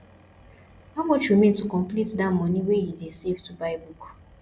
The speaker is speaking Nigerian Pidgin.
how much remain to complete dat money wey you dey save to buy book